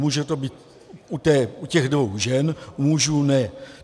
Může to být u těch dvou žen, u mužů ne.